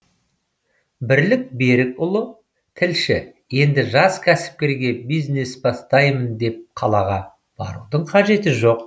бірлік берікұлы тілші енді жас кәсіпкерге бизнес бастаймын деп қалаға барудың қажеті жоқ